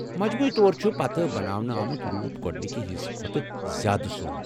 مجموعی طور چُھ پتہٕ بناونہٕ آمُت روٗپ گوڑنکہِ حصہٕ کھوتہٕ زیادٕ سۄن ۔